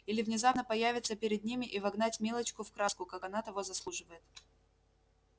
или внезапно появиться перед ними и вогнать милочку в краску как она того заслуживает